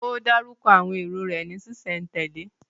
Ó dárúkọ àwọn èrò rẹ̀ ní ṣísẹ̀ntèlé?